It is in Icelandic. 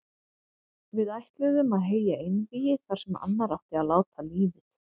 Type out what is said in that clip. Við ætluðum að heyja einvígi þar sem annar átti að láta lífið.